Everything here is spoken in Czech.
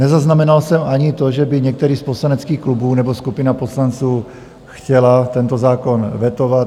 Nezaznamenal jsem ani to, že by některý z poslaneckých klubů nebo skupina poslanců chtěli tento zákon vetovat.